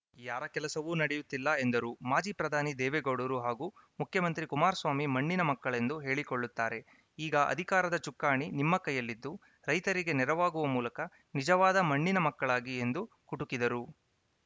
ಯಾರ ಕೆಲಸವೂ ನಡೆಯುತ್ತಿಲ್ಲ ಎಂದರು ಮಾಜಿ ಪ್ರಧಾನಿ ದೇವೇಗೌಡರು ಹಾಗೂ ಮುಖ್ಯಮಂತ್ರಿ ಕುಮಾರಸ್ವಾಮಿ ಮಣ್ಣಿನ ಮಕ್ಕಳೆಂದು ಹೇಳಿಕೊಳ್ಳುತ್ತಾರೆ ಈಗ ಅಧಿಕಾರದ ಚುಕ್ಕಾಣಿ ನಿಮ್ಮ ಕೈಯಲ್ಲಿದ್ದು ರೈತರಿಗೆ ನೆರವಾಗುವ ಮೂಲಕ ನಿಜವಾದ ಮಣ್ಣಿನ ಮಕ್ಕಳಾಗಿ ಎಂದು ಕುಟುಕಿದರು